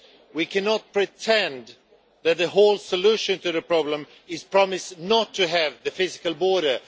We cannot pretend that the whole solution to the problem is to promise not to have a physical border.